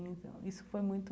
Então, isso foi muito...